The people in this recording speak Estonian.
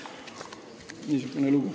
Niisugune lugu.